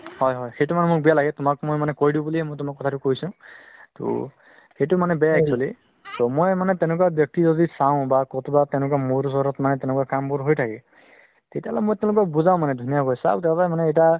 হয় হয় সেইটো মানে মোৰ বেয়া লাগে তুমাক মই কই দিও কাৰণেয়ে কথাতো কৈছো ট সেইটো মানে বেয়া actually so মই মানে তেনেকুৱা চাও বা কতোবাত মোৰ ওচৰত তেনেকুৱা কামবোৰ হয় থাকে তেতিয়া তেওলোকক মই বুজাও ধুনীয়া কৰি চাওক